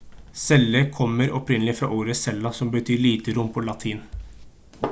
celle kommer opprinnelig fra ordet cella som betyr lite rom på latin